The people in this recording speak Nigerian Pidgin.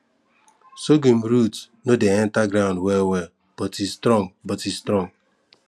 sorghum root no dey enter ground wellwell but e strong but e strong